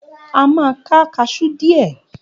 A máa ká kaṣú dìe.